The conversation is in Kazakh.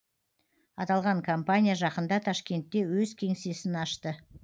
аталған компания жақында ташкентте өз кеңсесін ашты